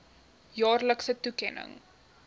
jaarlikse toekenning